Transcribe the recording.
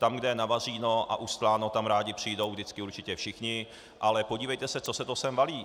Tam, kde je navařeno a ustláno, tam rádi přijdou vždycky určitě všichni, ale podívejte se, co se to sem valí.